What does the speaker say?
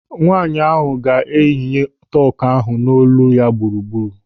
Nwaanyị ahụ ga-eyinye tọku ahụ n'olu ya gburugburu.